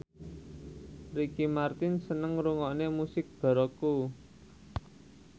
Ricky Martin seneng ngrungokne musik baroque